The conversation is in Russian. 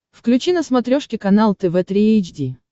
включи на смотрешке канал тв три эйч ди